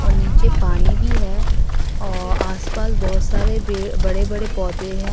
नीचे पानी भी है और आस पास बहोत सारे बड़े बड़े पौधे हैं।